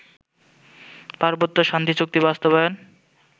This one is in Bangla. পার্বত্য শান্তিচুক্তি বাস্তবায়ন